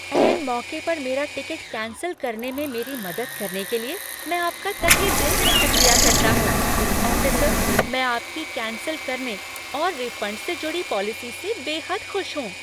ऐन मौके पर मेरा टिकट कैंसल करने में मेरी मदद करने के लिए, मैं आपका तहेदिल से शुक्रिया करता हूँ, ऑफिसर, मैं आपकी कैंसल करने और रिफंड से जुड़ी पॉलिसी से बेहद खुश हूँ।